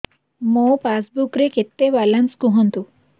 ମୋ ପାସବୁକ୍ ରେ କେତେ ବାଲାନ୍ସ କୁହନ୍ତୁ